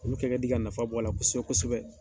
Olu kɛ ka di ka nafa bɔ a la kosɛbɛ kosɛbɛ.